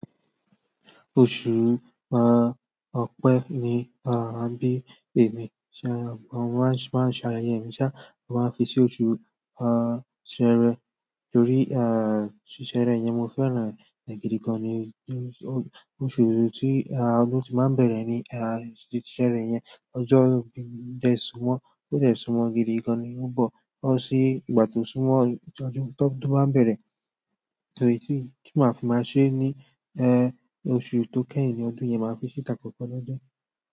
Oṣù, ọ̀pẹ́ ni a bí ẹ̀mí ṣá, mo maa n se mo máa n ṣe ayẹyẹ mi ṣá, mo máa n fi sí oṣù, ṣẹẹrẹ. Torí, ṣ ṣẹ́erẹ yẹn mo fẹ́ràn rẹ̀ gidi gan ni. Oṣù ti ọdún ti maa n bere ni seere yen. Ọjọ́ ibí mi dẹ́ súnmọ́, ó dẹ́ súnmọ́ gidi gan ni ó ń bọ. Bo ṣí ìgbà tó súnmọ́ ọjọ́ tódun bá bẹ̀rẹ̀. Torí tí kí máa fi máa ṣe ni, ọ̀su tó kẹ́yìn ní ọdún yen máa fi ṣí takoko lọ́dun.